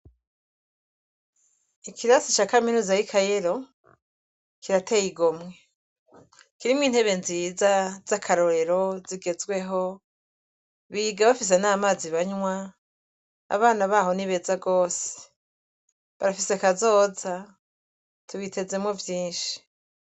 Ikirasi ca kaminuza y'i kayelo kirateye igomwe kirimwo intebe nziza z'akarorero zigezweho biga bafise n'amazi banywa abana baho n'ibeza rwose barafise kazoza tubitezemwo vyinshi.